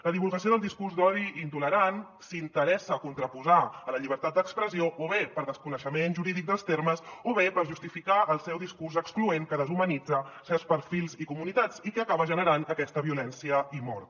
la divulgació del discurs d’odi i intolerant s’interessa a contraposar la llibertat d’expressió o bé per desconeixement jurídic dels termes o bé per justificar el seu discurs excloent que deshumanitza certs perfils i comunitats i que acaba generant aquesta violència i mort